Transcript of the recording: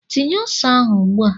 Tinye ose ahụ ugbua!